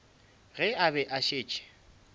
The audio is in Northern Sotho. ge a be a šetše